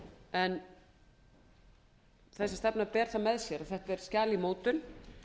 en þessi stefna ber það með sér að þetta er skjal í mótun